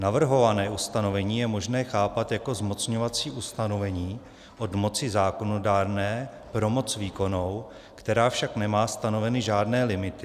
Navrhované ustanovení je možné chápat jako zmocňovací ustanovení od moci zákonodárné pro moc výkonnou, která však nemá stanoveny žádné limity.